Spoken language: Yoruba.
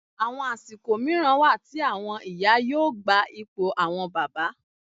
Àwọn àsìkò mìíràn wà tí àwọn ìyá yóò gba ipò àwọn bàbá